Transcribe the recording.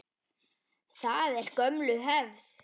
Það er gömul hefð.